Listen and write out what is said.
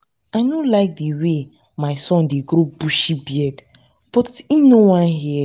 i no like the way my son dey grow bushy beard but he no wan hear